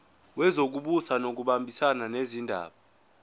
wezokubusa ngokubambisana nezindaba